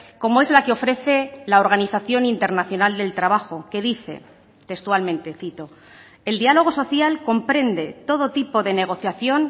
como es la que ofrece la organización internacional del trabajo que dice textualmente cito el diálogo social comprende todo tipo de negociación